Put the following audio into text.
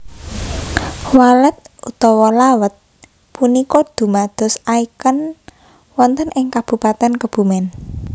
Walet utawa Lawet punika dumados icon wonten ing Kabupaten Kebumen